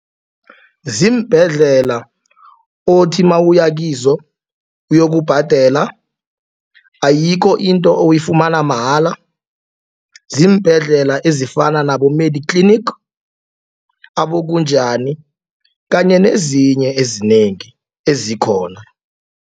Ziimbhedlela othi mawuyakizo uyokubhadela ayikho into oyifumana mahala. Ziimbhedlela ezifana nabo-Mediclinic aboKunjani kanye nezinye ezinengi ezikhona.